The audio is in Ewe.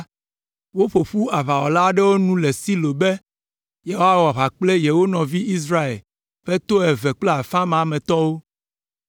woƒo ƒu aʋawɔla aɖewo nu le Silo be yewoawɔ aʋa kple yewo nɔvi Israel ƒe to eve kple afã ma me tɔwo.